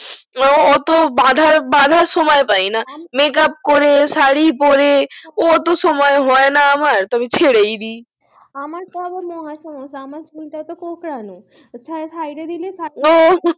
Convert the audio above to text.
ও অতো বাধার বাধার সময় পাইনা makeup করে শাড়ী পরে অটো সময় হয়না আমার তো আমি ছেড়েই দি আমার তো আবার মহা সমস্যা আমার চুলটা তো কোঁকড়ানো ছাইড়ে দিলে